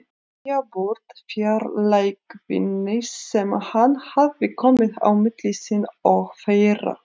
Ryðja burt fjarlægðinni sem hann hafði komið á milli sín og þeirra.